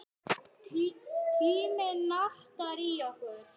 Tíminn nartar í okkur.